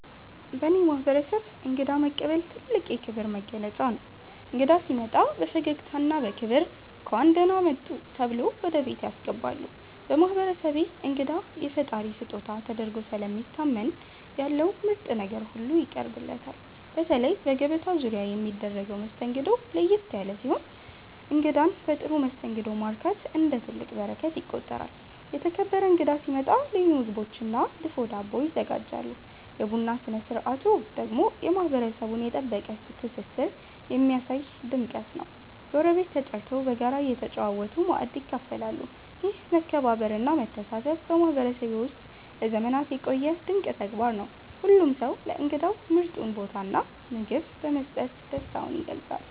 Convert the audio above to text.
በእኔ ማህበረሰብ እንግዳ መቀበል ትልቅ የክብር መገለጫ ነው። እንግዳ ሲመጣ በፈገግታና በክብር “እንኳን ደህና መጡ” ተብሎ ወደ ቤት ያስገባሉ። በማህበረሰቤ እንግዳ የፈጣሪ ስጦታ ተደርጎ ስለሚታመን ያለው ምርጥ ነገር ሁሉ ይቀርብለታል። በተለይ በገበታ ዙሪያ የሚደረገው መስተንግዶ ለየት ያለ ሲሆን እንግዳን በጥሩ መስተንግዶ ማርካት እንደ ትልቅ በረከት ይቆጠራል። የተከበረ እንግዳ ሲመጣ ልዩ ምግቦችና ድፎ ዳቦ ይዘጋጃሉ። የቡና ስነ ስርዓቱ ደግሞ የማህበረሰቡን የጠበቀ ትስስር የሚያሳይ ድምቀት ነው፤ ጎረቤት ተጠርቶ በጋራ እየተጨዋወቱ ማእድ ይካፈላሉ። ይህ መከባበርና መተሳሰብ በማህበረሰቤ ውስጥ ለዘመናት የቆየ ድንቅ ተግባር ነው። ሁሉም ሰው ለእንግዳው ምርጡን ቦታና ምግብ በመስጠት ደስታውን ይገልጻል።